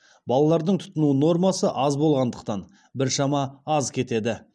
балалардың тұтыну нормасы аз болғандықтан біршама аз кетеді